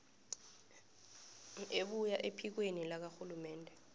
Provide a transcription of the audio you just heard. ebuya ephikweni lakarhulumende